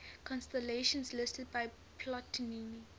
constellations listed by ptolemy